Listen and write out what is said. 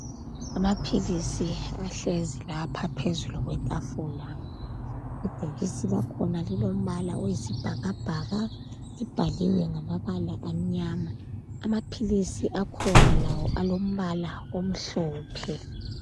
Amaphilisi ahlezi lapha phezu kwetafula. Ibhokisi lakhona lilombala oyisibhakabhaka libhaliwe ngamabala amnyama. Amaphilisi akhona lawo alombala omhlophe